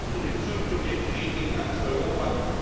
Es geht um den künftigen Frieden in ganz Europa.